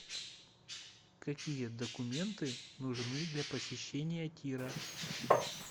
какие документы нужны для посещения тира